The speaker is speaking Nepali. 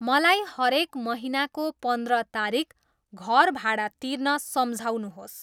मलाई हरेक महिनाको पन्द्र तारिक घर भाडा तिर्न सम्झाउनुहोस्।